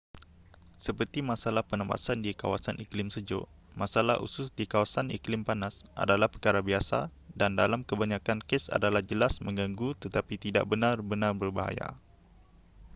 seperti masalah pernafasan di kawasan iklim sejuk masalah usus di kawasan iklim panas adalah perkara biasa dan dalam kebanyakan kes adalah jelas menggangu tetapi tidak benar-benar berbahaya